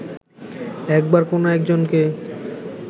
একবার কোনো একজনকে